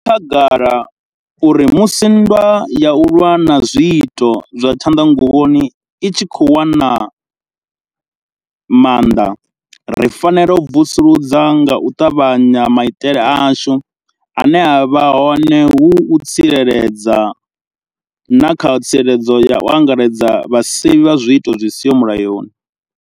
Zwi khagala uri musi nndwa ya u lwa na zwiito zwa tshanḓanguvhoni i tshi khou wana maanḓa, ri fanela u vusuludza nga u ṱavhanya maitele ashu ane a vha hone hu u tsireledza, na kha tsireledzo ya u angaredza ya vhasevhi vha zwiito zwi siho mulayoni.